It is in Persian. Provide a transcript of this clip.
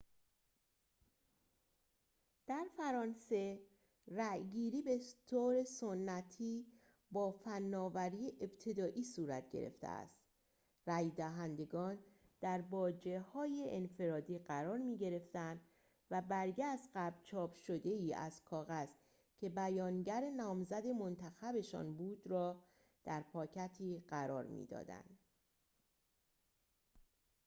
در فرانسه رأی‌گیری بطور سنتی با فناوری ابتدایی صورت گرفته است رأی دهندگان در باجه‌هایی انفرادی قرار می‌گرفتند و برگه از قبل چاپ شده‌ای از کاغذ که بیانگر نامزد منتخب‌شان بود را در پاکتی قرار می‌دادند